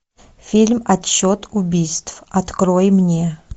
фильм отчет убийств открой мне